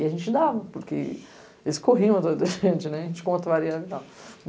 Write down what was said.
E a gente dava, porque eles corriam atras da gente, a gente contrariando e tal.